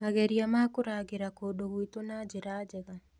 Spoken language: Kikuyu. mageria ma kũrangĩra kũndũ gwitũ na njĩra njega.